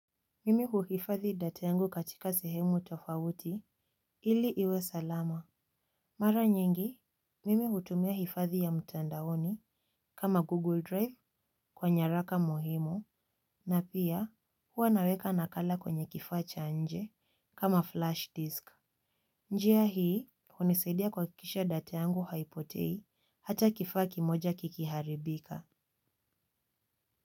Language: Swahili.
Mimi huhifadhi data yangu katika sehemu tofauti ili iwe salama. Mara nyingi, mimi hutumia hifadhi ya mtandaoni kama Google Drive kwa nyaraka muhimo na pia huwa naweka nakala kwenye kifaacha nje kama flash disk. Njia hii, hunisaidia kuhakikisha data yangu haipotei hata kifaa kimoja kikiharibika.